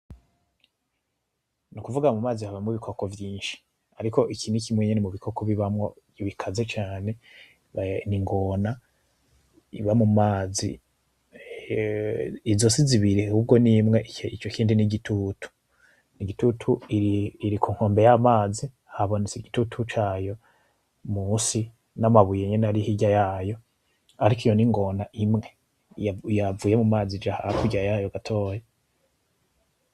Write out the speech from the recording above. N'ukuvuga mu mazi habamo ibikoko vyinshi, ariko iki ni kimwe nyene mu bikoko bibamo bikaze cane, n'ingona iba mu mazi izo si zibiri ahubwo ni imwe ico kindi ni igitutu, iri ku nkombe y’amazi habonetse igitutu cayo musi n’amabuye nyene ari hirya yayo ariko iyo n’ingona imwe yavuye mu mazi ija hakurya yayo gatoya.